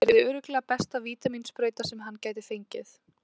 Það yrði örugglega besta vítamínsprauta sem hann gæti fengið.